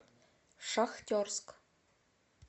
шахтерск